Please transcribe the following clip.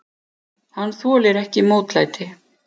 Hann þolir ekki mótlæti.